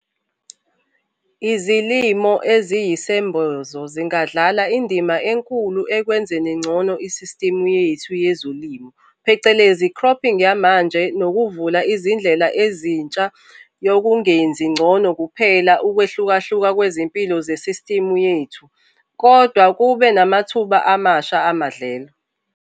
IZILIMO EZIYISEMBOZO ZINGADLALA INDIMA ENKULU EKWENZENI NGCONO ISISTIMU YETHU YEZILIMO PHECELEZI CROPPING YAMANJE NOKUVULA IZINDLELA EZINTSHA YOKUNGENZI NGCONO KUPHELA I-UKWEHLUKAHLUKA KWEZIMPILO ZESISTIMU YETHU, KODWA KUBE NAMATHUBA AMASHA AMADLELO.